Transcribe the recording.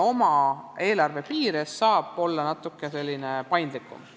Oma eelarve piires saab ta olla natuke paindlikum.